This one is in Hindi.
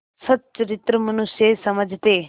सच्चरित्र मनुष्य समझते